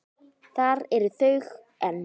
Þar eru þau enn.